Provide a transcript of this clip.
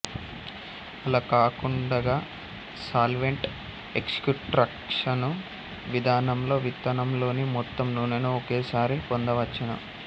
అలా కాకుండగా solvent extraction విధానంలో విత్తనంలోని మొత్తం నూనెను ఒకేసారి పొందవచ్చును